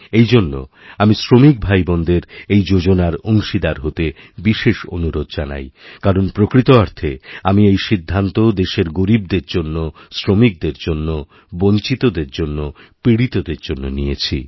এই জন্য আমি শ্রমিক ভাইবোনদের এই যোজনারঅংশীদার হতে বিশেষ অনুরোধ জানাই কারণ প্রকৃত অর্থে আমি এই সিদ্ধান্ত দেশের গরীবদেরজন্য শ্রমিকদের জন্য বঞ্চিতদের জন্য পীড়িতদের জন্য নিয়েছি